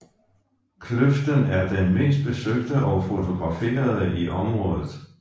Kløften er den mest besøgte og fotograferede i området